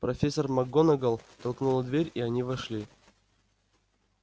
профессор макгонагалл толкнула дверь и они вошли